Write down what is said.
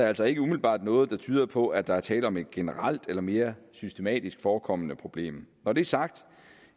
altså ikke umiddelbart noget der tyder på at der er tale om et generelt eller mere systematisk forekommende problem når det er sagt